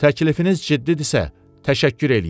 Təklifiniz ciddisə, təşəkkür eləyirəm.